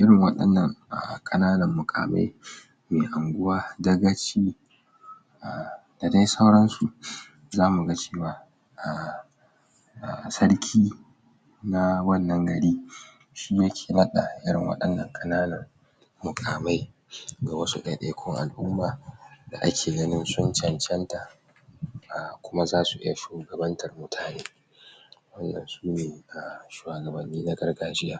irin waɗannan a ƙananan muƙamai mai anguwa dagaci a da dai sauransu zamuga cewa a sarki na wannan gari shiyake naɗa irin waɗannan ƙananan muƙamai ga wasu ɗaiɗaikun al'uma da ake ganin sun cancanta a kuma zasu iya shugabantar mutaneu iya waɗannan sune a shuwagabanni na gargajiya.